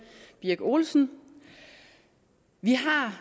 birk olesen vi har